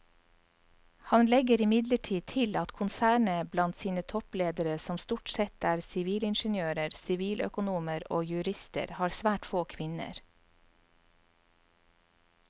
Han legger imidlertid til at konsernet blant sine toppledere som stort sette er sivilingeniører, siviløkonomer og jurister har svært få kvinner.